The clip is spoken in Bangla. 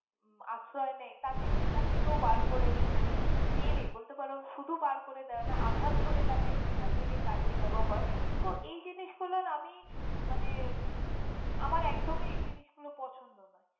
আশ্রয়ই নেয় তাকে সেখান থেকেও বার করে মানে মেরে বলতে পারো শুধু বার করে দেই না আঘাত করে তাকে সেখান থেকে তাড়িয়ে দেওয়া হয়। তো এই জিনিস গুলোর আমি মানে আমার একদমই এই জিনিসগুলো পছন্দ নয়।